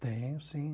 Tenho, sim.